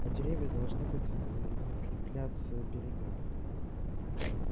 а деревья должны быть закрепляться берега